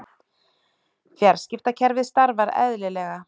Fjarskiptakerfið starfar eðlilega